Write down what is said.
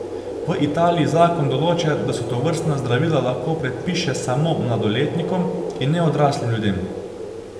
V Italiji zakon določa, da se tovrstna zdravila lahko predpiše samo mladoletnikom in ne odraslim ljudem.